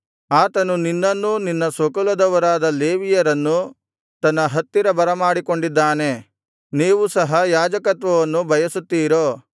ಆತನು ನಿನ್ನನ್ನೂ ನಿನ್ನ ಸ್ವಕುಲದವರಾದ ಲೇವಿಯರನ್ನೂ ತನ್ನ ಹತ್ತಿರ ಬರಮಾಡಿಕೊಂಡಿದ್ದಾನೆ ನೀವು ಸಹ ಯಾಜಕತ್ವವನ್ನು ಬಯಸುತ್ತಿರೋ